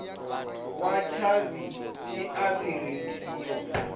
wa tshavhi i a phurinthiwa